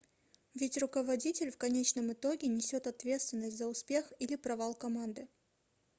ведь руководитель в конечном итоге несет ответственность за успех или провал команды